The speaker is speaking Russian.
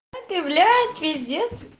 это являет пиздец